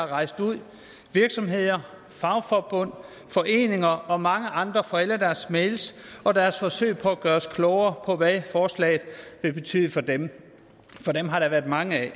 rejst ud virksomheder fagforbund foreninger og mange andre for alle deres mails og deres forsøg på at gøre os klogere på hvad forslaget vil betyde for dem for dem har der været mange af